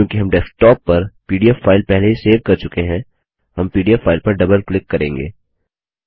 चूँकि हम डेस्कटॉप पर पीडीएफ फाइल पहले ही सेव कर चुके हैं हम पीडीएफ फाइल पर डबल क्लिक करेंगे